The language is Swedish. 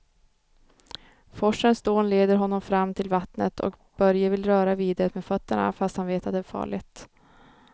Forsens dån leder honom fram till vattnet och Börje vill röra vid det med fötterna, fast han vet att det är farligt.